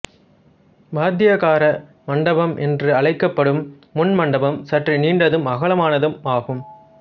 வாத்தியக்கார மண்டபம் என்றழைக்கப்படும் முன் மண்டபம் சற்று நீண்டதும் அகலமானதுமாகும்